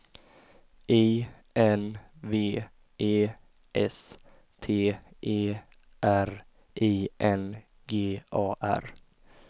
I N V E S T E R I N G A R